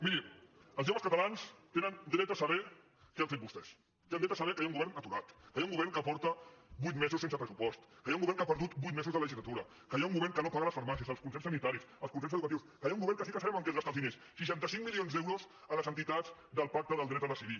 miri els joves catalans tenen dret a saber què han fet vostès tenen dret a saber que hi ha un govern aturat que hi ha un govern que porta vuit mesos sense pressupost que hi ha un govern que ha perdut vuit mesos de legislatura que hi ha un govern que no paga les farmàcies els concerts sanitaris els concerts educatius que hi ha un govern que sí que sabem en què es gasta els diners seixanta cinc milions d’euros en les entitats del pacte pel dret a decidir